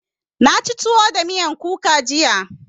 Na ci tuwo da miyan kuka jiya.